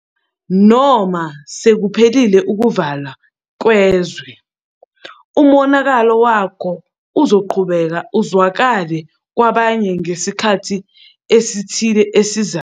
Noma sekuphelile ukuvalwa kwezwe, umonakalo wako uzoqhubeka uzwakale kwabanye ngesikhathi esithile esizayo.